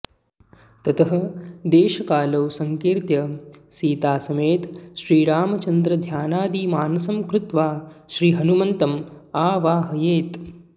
ततः देशकालौ संकीर्त्य सीतासमेतश्रीरामचन्द्रध्यानादि मानसं कृत्वा श्री हनुमन्तमावाहयेत्